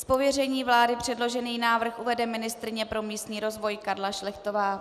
Z pověření vlády předložený návrh uvede ministryně pro místní rozvoj Karla Šlechtová.